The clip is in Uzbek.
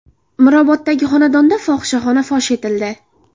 Miroboddagi xonadonda fohishaxona fosh etildi.